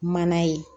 Mana ye